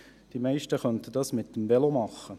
Die meisten könnten dies mit dem Velo machen.